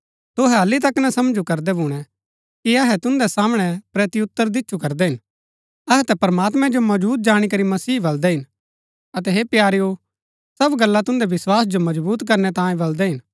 तुहै हालि तक समझू करदै भूणै कि अहै तुन्दै सामणै प्रत्युतर दिच्छु करदै हिन अहै ता प्रमात्मैं जो मौजुद जाणी करी मसीह मन्ज बलदै हिन अतै हे प्यारेओ सब गल्ला तुन्दै विस्वास जो मजबुत करनै तांयें बलदै हिन